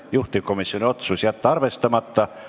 Juhtivkomisjoni otsus: jätta arvestamata.